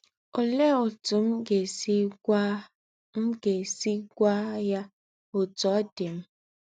Olee otú m ga-esi gwa m ga-esi gwa ya otú ọ dị m?